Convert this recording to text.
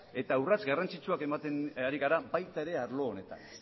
eta urrats garrantzitsua ematen ari gara baita ere arlo honetan